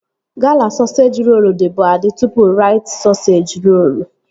Gala sọseji rolu dịbu adị tụpụ Rait sọseji rolu